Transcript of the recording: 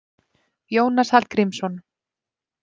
Jónas Hallgrímsson.